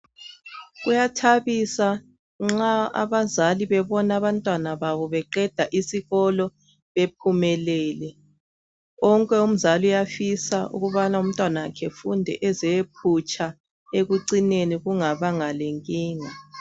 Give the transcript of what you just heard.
Kuyathabisa nxa abazali bebona abantwana babo beqeda isikolo bephumelele wonke umzali uyafisa ukubana umntwanakhe efunde eze eyephutsha ekucineni kungabanga lenkinga.